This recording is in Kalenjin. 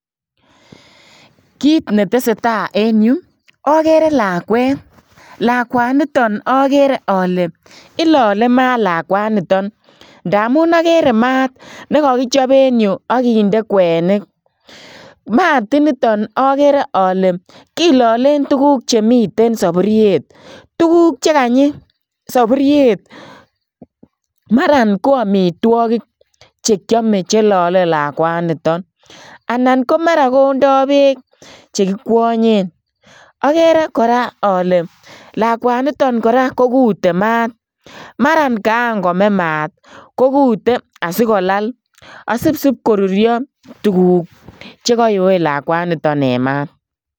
Kiit ne tesetai en Yuu agere lakwet lakwanitoon agere ale ilale maat lakwanitoon ndamuun agere maat nekakichaap en Yuu agindee kwenik maat initoon agere ale kilaleen tuguuk chemiten saburuiet tuguuk chekanyii saburuiet mara ko amitwagiik chekiyame chelale lakwanitoon anan ko mara kondai beek chekikwanyeen agere kora ale lakwanitoon kiteen maat mara kaan komee maat kokute asipkoruria tuguuk chekayoe lakwanitoon en maat.